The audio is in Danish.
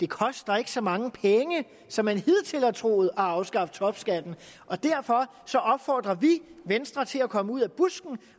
koster så mange penge som man hidtil har troet at afskaffe topskatten og derfor opfordrer vi venstre til at komme ud af busken